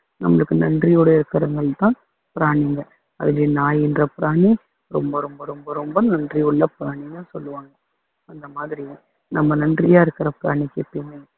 நம்மளுக்கு நன்றியோட இருக்குறவங்க தான் பிராணிங்க அதுல நாய் என்ற பிராணி ரொம்ப ரொம்ப ரொம்ப ரொம்ப நன்றியுள்ள பிராணின்னு சொல்லுவாங்க அந்தமாதிரி நம்ம நன்றியா இருக்குற பிராணிக்கு எப்பயுமே